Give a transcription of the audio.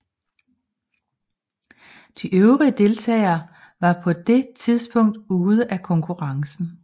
De øvrige deltagere var på det tidspunkt ude af konkurrencen